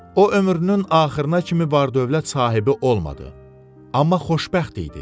O ömrünün axırına kimi var-dövlət sahibi olmadı, amma xoşbəxt idi.